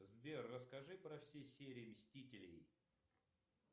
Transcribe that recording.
сбер расскажи про все серии мстителей